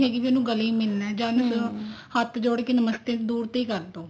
ਵੀ ਉਹਨੂੰ ਗਲੇ ਹੀ ਮਿਲਣਾ ਜਾਂ ਉਹਨੂੰ ਹੱਥ ਜੋੜ ਕੇ ਨਮਸਤੇ ਦੁਰ ਤੋਂ ਹੀ ਕਰਦੋ